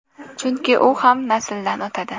Chunki u ham nasldan o‘tadi.